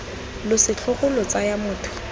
lo setlhogo lo tsaya motho